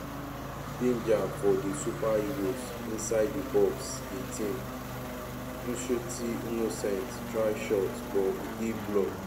danger for di super eagles inside di box 18 nshuti innocent try shot but e dey blocked.